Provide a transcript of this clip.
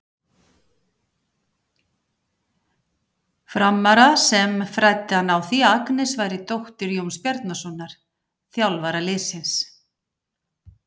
Frammara sem fræddi hann á því að Agnes væri dóttir Jóns Bjarnasonar, þjálfara liðsins.